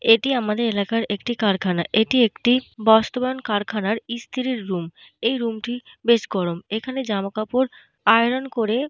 এটি আমাদের এলাকার একটি কারখানা। এটি একটি বস্ত্রবান কারখানার ইস্তিরির রুম । এই রুম টি বেশ গরম। এখানে জামাকাপড় আইরন করে --